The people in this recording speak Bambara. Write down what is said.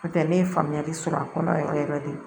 N'o tɛ ne ye faamuyali sɔrɔ a kɔnɔ yɛrɛ yɛrɛ de